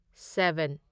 seven